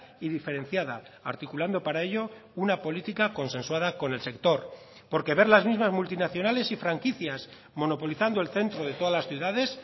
y diferenciada articulando para ello una política consensuada con el sector porque ver las mismas multinacionales y franquicias monopolizando el centro de todas las ciudades